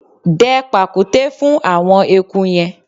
Dẹ pàkúté fún àwọn eku yẹn!